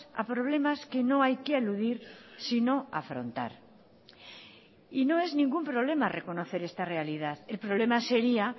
a problemas que no hay que eludir sino afrontar y no es ningún problema reconocer esta realidad el problema sería